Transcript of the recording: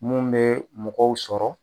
Mun bɛ mɔgɔw sɔrɔ.